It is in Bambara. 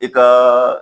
I ka